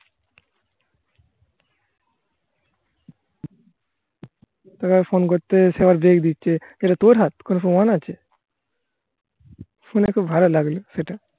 এটা তোর হাত কোনো প্রমাণ আছে শুনে খুব ভালো লাগলো সেটা.